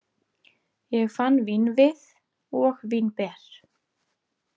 Ég fann vínvið og vínber.